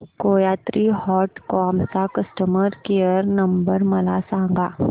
कोयात्री dot com चा customer care number मला सांगा